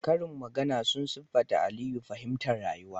Karin magana sun siffata Aliyu fahimtar rayuwa